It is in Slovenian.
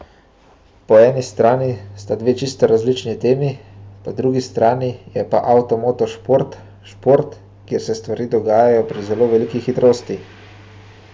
Po eni strani sta dve čisto različni temi, po drugi strani je pa avtomoto šport šport, kjer se stvari dogajajo pri zelo veliki hitrosti.